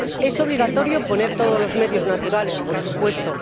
Es obligatorio poner todos los medios naturales, por supuesto.